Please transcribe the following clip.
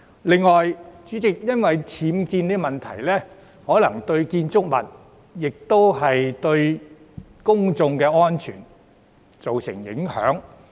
此外，代理主席，因為僭建問題，相關建築物可能會對公眾安全造成影響。